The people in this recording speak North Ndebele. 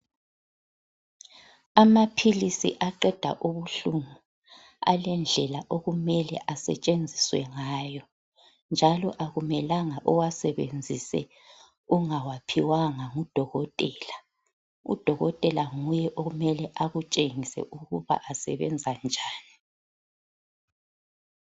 Amaphilisi aqeda ubuhlungu alendlela okumele asetshenziswe ngayo njalo akumelanga uwasebenzise ungawaphiwanga ngudokotela. Udokotela nguye okumele akutshengise ukuba asebenza njani.